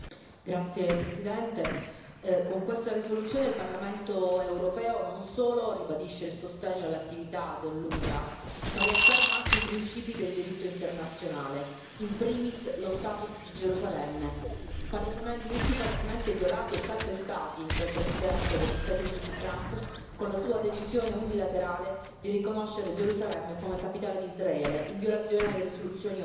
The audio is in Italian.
Signor Presidente, onorevoli colleghi, con questa risoluzione il Parlamento europeo non solo ribadisce il sostegno all'attività dell'UNRWA, ma riafferma anche i principi del diritto internazionale, in primis lo status di Gerusalemme. Diritti palesemente violati e calpestati dal Presidente degli Stati Uniti Trump con la sua decisione unilaterale di riconoscere Gerusalemme come capitale di Israele in violazione alle risoluzioni ONU.